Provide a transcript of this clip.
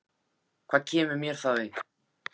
LÁRUS: Hvað kemur mér það við?